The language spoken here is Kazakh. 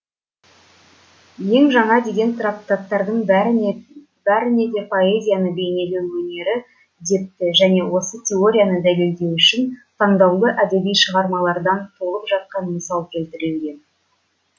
ең жаңа деген трактаттардың бәріне бәрінеде поэзияны бейнелеу өнері депті және осы теорияны дәлелдеу үшін таңдаулы әдеби шығармалардан толып жатқан мысал келтірілген